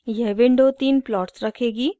यह विंडो तीन प्लॉट्स रखेगी